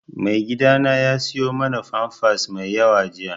Maigidana ya siyo mana famfas mai yawa jiya